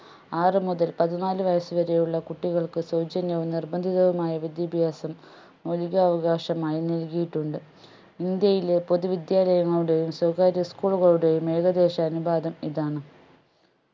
ആറു മുതൽ പതിന്നാല് വയസ്സ് വരെ ഉള്ള കുട്ടികൾക്ക് സൗജന്യവും നിർബന്ധിതവുമായ വിദ്യാഭ്യാസം മൗലികാവകാശമായി നൽകിയിട്ടുണ്ട് ഇന്ത്യയിലെ പൊതുവിദ്യാലയങ്ങളുടെയും സ്വകാര്യ school കളുടെയും ഏകദേശ അനുപാതം ഇതാണ്